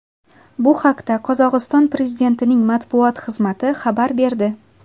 Bu haqda Qozog‘iston prezidentining matbuot xizmati xabar berdi .